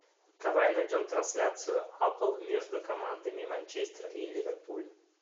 давай найдем трансляцию апл между командами манчестер и ливерпуль